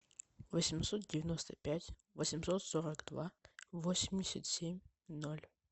восемьсот девяносто пять восемьсот сорок два восемьдесят семь ноль